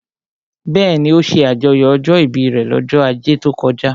Bẹ́ẹ̀ni, ó ṣe àjọyọ̀ ọjọ́ ìbí rẹ̀ lọ́jọ́ ajé tó kọjá